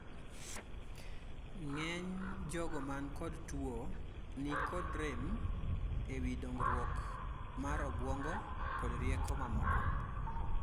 ng'eny jogo man kod tuo ni nikod rem ewi dongruok mar obuongo kod rieko mamoko